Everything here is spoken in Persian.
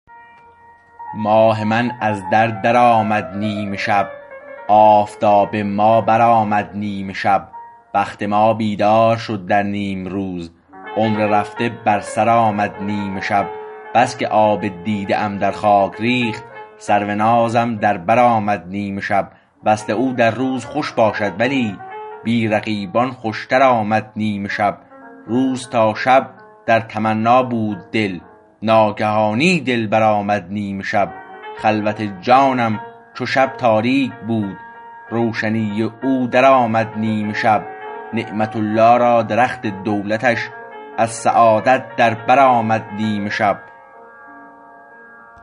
ماه ما از در در آمد نیمشب آفتاب ما برآمد نیمشب بخت ما بیدار شد در نیمروز عمر رفته بر سر آمد نیمشب بس که آب دیده ام در خاک ریخت سرو نازم در بر آمد نیمشب وصل او در روز خوش باشد ولی بی رقیبان خوشتر آمد نیمشب روز تا شب در تمنا بود دل ناگهانی دلبر آمد نیمشب خلوت جانم چو شب تاریک بود روشنی او در آمد نیمشب نعمت الله را درخت دولتش از سعادت در بر آمد نیمشب